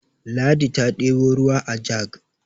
ladi ta ɗebo ruwa ajag